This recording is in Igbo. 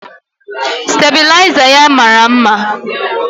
Stabịlaịza ya mara mma.